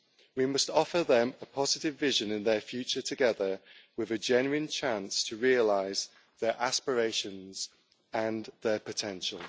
We must offer them a positive vision in their future, together with a genuine chance to realise their aspirations and their potential.